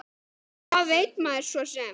Hvað veit maður svo sem.